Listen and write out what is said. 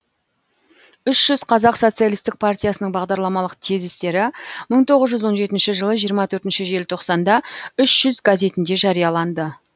үш жүз қазақ социалистік партиясының бағдарламалық тезистері мың тоғыз жүз он жетінші жылы жиырма төртінші желтоқсанда үш жүз газетінде жарияланды